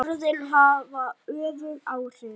Orðin hafa öfug áhrif.